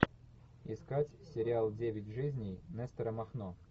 искать сериал девять жизней нестора махно